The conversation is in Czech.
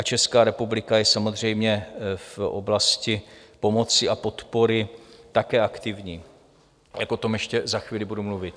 A Česká republika je samozřejmě v oblasti pomoci a podpory také aktivní, jak o tom ještě za chvíli budu mluvit.